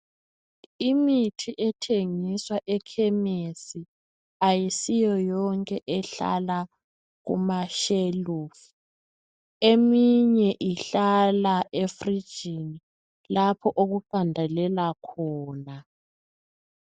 Imithi ethengiswa ekhemisi ayisiyo yonke ehlala kumashelufu. Eminye ihlala efurijini lapho okuqandelela khona.